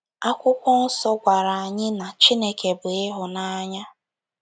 Akwụkwọ Nsọ gwara anyị na “ Chineke bụ ịhụnanya. ”